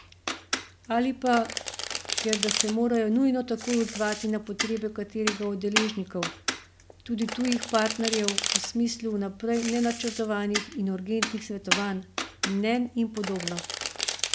Ali pa, ker da se morajo nujno takoj odzvati na potrebe katerega od deležnikov, tudi tujih partnerjev, v smislu vnaprej nenačrtovanih in urgentnih svetovanj, mnenj in podobno.